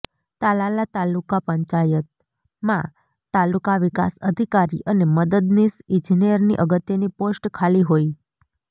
તાલાલા તાલુકા પંચાયતમાં તાલુકા વિકાસ અધિકારી અને મદદનીશ ઈજનેરની અગત્યની પોસ્ટ ખાલી હોય